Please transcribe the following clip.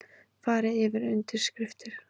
Farið yfir undirskriftir